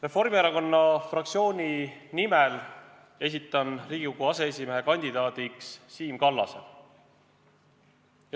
Reformierakonna fraktsiooni nimel esitan Riigikogu aseesimehe kandidaadiks Siim Kallase.